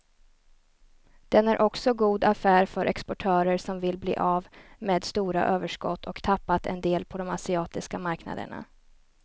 Den är också god affär för exportörer som vill bli av med stora överskott och tappat en del på de asiatiska marknaderna.